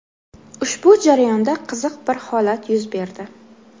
Ushbu jarayonda qiziq bir holat yuz berdi.